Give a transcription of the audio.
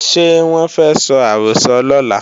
Ṣé wọ́n fẹ́ sọ àrọ́sọ lọ́la?